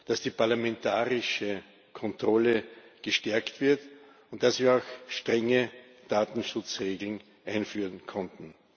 dass die parlamentarische Kontrolle gestärkt wird und dass wir auch strenge Datenschutzregeln einführen konnten.